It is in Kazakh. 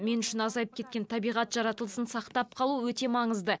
мен үшін азайып кеткен табиғат жаратылысын сақтап қалу өте маңызды